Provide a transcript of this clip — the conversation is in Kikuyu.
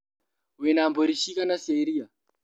Wĩna mbũri ciigana cia iria?